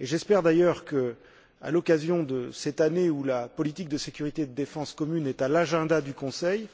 Et j'espère d'ailleurs que, à l'occasion de cette année où la politique de sécurité et de défense commune est à l'agenda du Conseil,